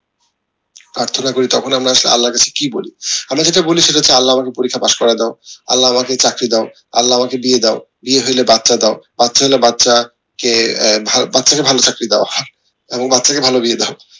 প্রার্থনা করি তখন আমরা আসলে আল্লার কাছে কি বলি আমরা যেটা বলি সেটা হচ্ছে আল্লাহ আমাদের পরীক্ষায় পাস্ করায় দাও আল্লাহ আমাকে চাকরি দাও আল্লাহ আমাকে বিয়ে দাও বিয়ে হইলে বাচ্চা দাও বাচ্চা কে বাচ্চা কে ভালোচাকরি দাও এবং বাচ্চা কে ভালো বিয়ে দাও